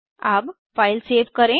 अब file save करें